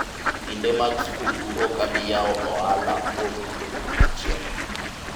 kinde mag skuku okabi yawo ohala kuom juma achiel